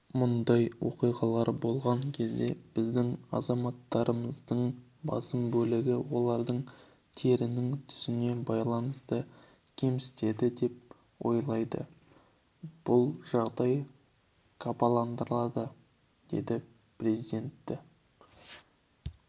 мұндай оқиғалар болған кезде біздің азаматтарымыздың басым бөлігі оларды терінің түсіне байланысты кемсітеді деп ойлайды бұл жағдай қапаландырады деді президенті